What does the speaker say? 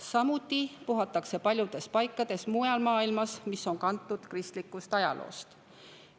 Samuti puhatakse sel päeval paljudes paikades mujal maailmas, mis on kantud kristlikust ajaloost.